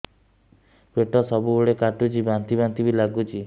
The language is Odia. ପେଟ ସବୁବେଳେ କାଟୁଚି ବାନ୍ତି ବାନ୍ତି ବି ଲାଗୁଛି